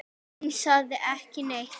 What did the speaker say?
Hún sagði ekki neitt.